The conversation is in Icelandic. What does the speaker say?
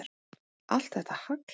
Allt er þetta hagl.